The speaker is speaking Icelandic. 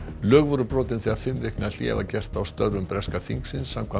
lög voru brotin þegar fimm vikna hlé var gert á störfum breska þingsins samkvæmt